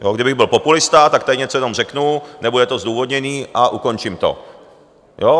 Kdybych byl populista, tak tady něco jenom řeknu, nebude to zdůvodněné a ukončím to.